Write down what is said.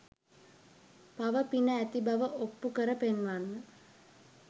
පව පින ඇති බව ඔප්පු කර පෙන්වන්න.